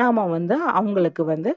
நாம்ம வந்து அவங்களுக்கு வந்து